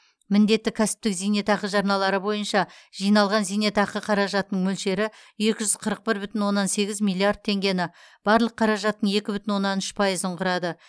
міндетті кәсіптік зейнетақы жарналары бойынша жиналған зейнетақы қаражатының мөлшері екі жүз қырық бір бүтін оннан сегіз миллиард теңгені барлық қаражаттың екі бүтін оннан үш пайызын құрады